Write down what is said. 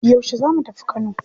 Yaushe za mu tafi Kano?